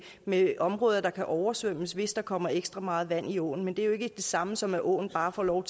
med områder der kan oversvømmes hvis der kommer ekstra meget vand i åen men det er jo ikke det samme som at åen bare får lov